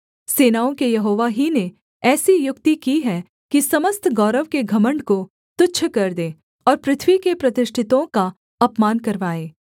सेनाओं के यहोवा ही ने ऐसी युक्ति की है कि समस्त गौरव के घमण्ड को तुच्छ कर दे और पृथ्वी के प्रतिष्ठितों का अपमान करवाए